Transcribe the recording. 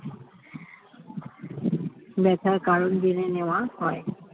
ব্যথার কারণ জেনে নেওয়া হয়